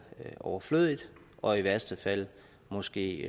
er overflødigt og i værste fald måske